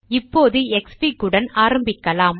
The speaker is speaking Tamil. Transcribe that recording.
இப்பொழுது க்ஸ்ஃபிக் உடன் தொடங்கலாம்